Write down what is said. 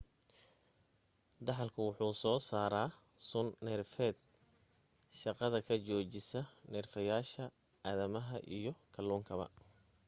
daxalku wuxu soo saaraa sun neerfeed shaqada ka joojisa neerfayaasha aadamaha iyo kalluunkaba